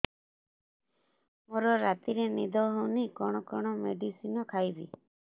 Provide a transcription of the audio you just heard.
ମୋର ରାତିରେ ନିଦ ହଉନି କଣ କଣ ମେଡିସିନ ଖାଇବି